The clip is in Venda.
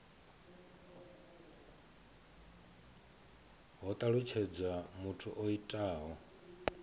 ho talutshedzwa muthu o itaho